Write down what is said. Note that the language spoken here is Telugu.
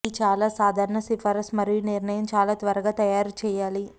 ఈ చాలా సాధారణ సిఫార్సు మరియు నిర్ణయం చాలా త్వరగా తయారు చేయాలి